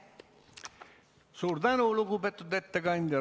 Suur tänu, lugupeetud ettekandja!